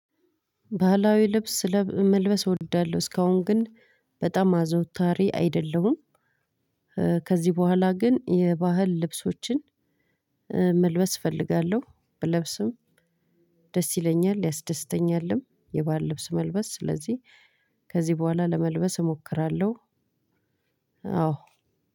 ባህላዊ ልብስ ስለብ መልበስ እወዳለሁ እስካሁን ግን በጣም አዘውታሪ አይደለሁም። ከዚህ በኋላ ግን የባህል ልብሶችን መልበስ እፈልጋለሁ። ብለብስም ደስ ይለኛል። ያስደስተኛልም የባህል ልብስ መልበስ ስለዚህ ከዚህ በኋላ ለመልበስ እሞክራለሁ። አዎ